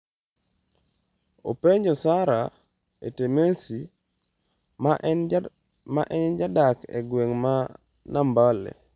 openjo Sarah Etemesi ma en jadak e gweng' ma Nambale.